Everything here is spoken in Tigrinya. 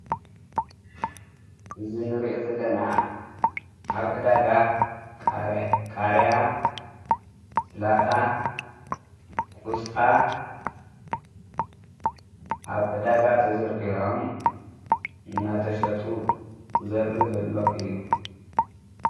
እዘ ንርአ ዘለና ኣብ ዕዳጋ ቃርያ ሥላታ ቊስታ ኣብ ዕዳጋ ተዘርግሕሖም እናተሸጡ ዘርኢ ዘለዉ እዩ።